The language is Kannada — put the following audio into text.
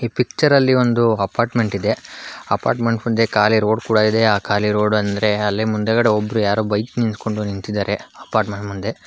ಪಿಕ್ಚರ್ ಅಲ್ಲಿ ಒಂದು ಅಪಾರ್ಟ್ಮೆಂಟ್ ಇದೆ ಅಪಾರ್ಟ್ಮೆಂಟ್ ಮುಂದೆ ಕಾಲಿ ರೋಡ್ ಕೂಡ ಇದೆ ಅ ಖಾಲಿ ರೋಡ್ ಅಂದ್ರೆ ಅಲ್ಲಿ ಮುಂದಗಡೆ ಒಬ್ಬರ ಯಾರೋ ಬೈಕ್ ನಿಲ್ಸಕೊಂಡ ನಿಂತಿದಾರೆ ಅಪಾರ್ಟ್ಮೆಂಟ್ ಮುಂದೆ--